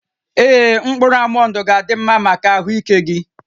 Ee, mkpụrụ almọnd ga-adị mma maka ahụike gị